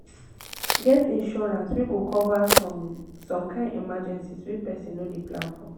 get insurance wey go cover some some kind emergencies wey person no dey plan for